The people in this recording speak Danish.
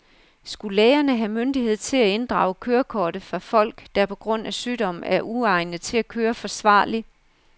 Skulle lægerne have myndighed til at inddrage kørekortet fra folk, der på grund af sygdom er uegnet til at køre forsvarligt?